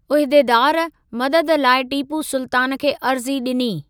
उहिदेदार, मदद लाइ टीपू सुल्तान खे अर्ज़ी ॾिनी।